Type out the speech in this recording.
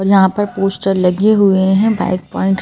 और यहाँ पर पोस्टर लगे हुए हैं बाइक पॉइंट ।